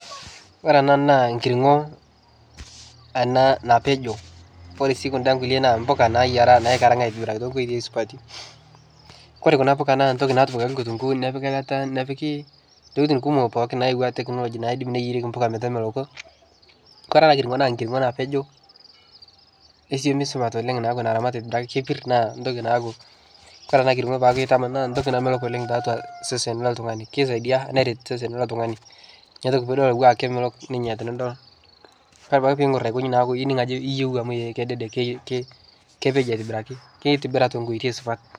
Ore enaa naa enkirng'o ena napejo, ore sii kuda kulie na mpuka nayiera naikarng'a aitobiraki too wejitiin supati. Koree kuna puka naa ntokitin na tipikaki nkitunkuu, nepiki eilata nepiki tokitin pookin kumok nayawua technology, naidim niyiereki mpuka metameloko. Koree ena kirng'o naa enkirng'o napejo nasiput supat naa naramatieki napir nitoki naa aku. Ore ena kirng'o pakutamanaa naa entoki namelok oleng' tiatua sesen loo ltung'ani. Keisaidia neret osesen lilo tung'ani. Neitoki naa aku kemelok tenidol. Ore apake peng'or akojin neeku iyeu amu kededek kepejo aitobiraki, kitobira tenkoitoi supat.